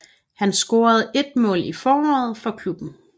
Han scorede ét mål i foråret for klubben